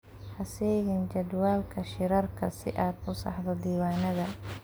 Ha seegin jadwalka shirarka si aad u saxdo diiwaanada.